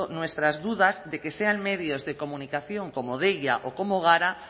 nuestras dudas de que sean medios de comunicación como deia o como gara